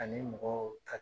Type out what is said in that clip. Ani mɔgɔw ka